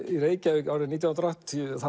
í Reykjavík nítján hundruð og áttatíu